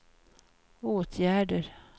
åtgärder